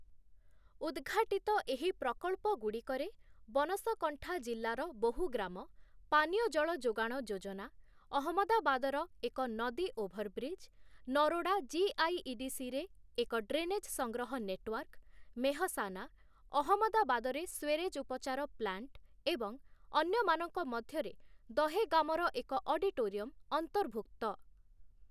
ଉଦ୍‌ଘାଟିତ ଏହି ପ୍ରକଳ୍ପଗୁଡ଼ିକରେ ବନସକଣ୍ଠା ଜିଲ୍ଲାର ବହୁ ଗ୍ରାମ ପାନୀୟ ଜଳ ଯୋଗାଣ ଯୋଜନା, ଅହମ୍ମଦାବାଦର ଏକ ନଦୀ ଓଭରବ୍ରିଜ୍, ନରୋଡା ଜିଆଇଇଡିସିରେ ଏକ ଡ୍ରେନେଜ୍ ସଂଗ୍ରହ ନେଟୱାର୍କ, ମେହସାନା, ଅହମ୍ମଦାବାଦରେ ସ୍ୱେରେଜ୍ ଉପଚାର ପ୍ଲାଣ୍ଟ ଏବଂ ଅନ୍ୟମାନଙ୍କ ମଧ୍ୟରେ ଦହେଗାମର ଏକ ଅଡିଟୋରିୟମ୍ ଅନ୍ତର୍ଭୁକ୍ତ ।